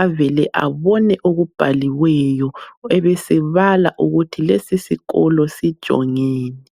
avele abone okubhaliweyo, abesebala ukuthi lesisikolo sijongeni.